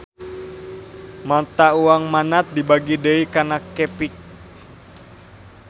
Mata uang Manat dibagi deui kana qepik